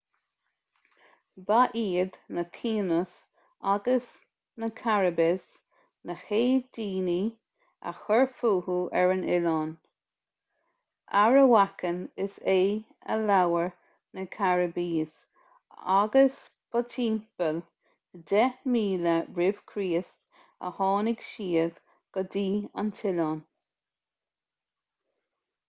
ba iad na taínos agus na caribes na chéad daoine a chuir fúthu ar an oileán arawakan is ea a labhair na caribes agus ba timpeall 10,000 r.ch a tháinig siad go dtí an t-oileán